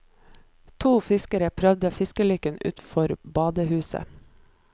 To fiskere prøver fiskelykken utenfor badehuset.